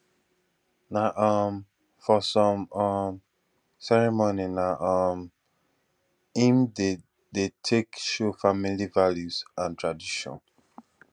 na um for some um ceremony na um im dem dey take show family values and traditions